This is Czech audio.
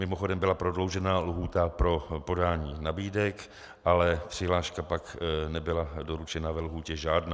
Mimochodem, byla prodloužena lhůta pro podání nabídek, ale přihláška pak nebyla doručena ve lhůtě žádná.